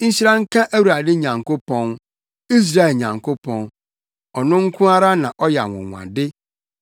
Nhyira nka Awurade Nyankopɔn, Israel Nyankopɔn! Ɔno nko ara na ɔyɛ anwonwade.